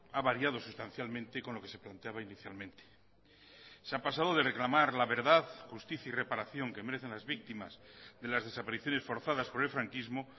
ha variado sustancialmente con lo que se planteaba inicialmente se ha pasado de reclamar la verdad justicia y reparación que merecen las víctimas de las desapariciones forzadas por el franquismo